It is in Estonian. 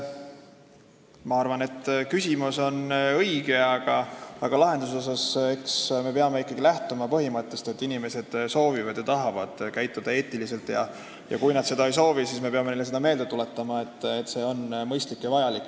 Ma arvan, et küsimus on õige, aga lahendust otsides me peame ikkagi lähtuma põhimõttest, et inimesed soovivad ja tahavad käituda eetiliselt, ja kui nad seda ei soovi, siis me peame neile meelde tuletama, et nii on mõistlik ja vajalik.